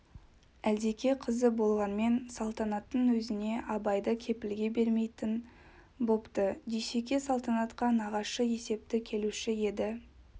әлдеке қызы болғанмен салтанаттың өзіне абайды кепілге бермейтін бопты дүйсеке салтанатқа нағашы есепті келуші еді